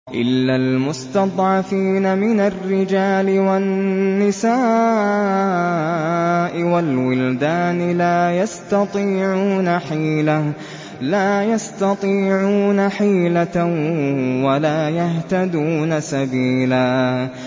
إِلَّا الْمُسْتَضْعَفِينَ مِنَ الرِّجَالِ وَالنِّسَاءِ وَالْوِلْدَانِ لَا يَسْتَطِيعُونَ حِيلَةً وَلَا يَهْتَدُونَ سَبِيلًا